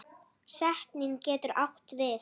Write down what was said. Setning getur átt við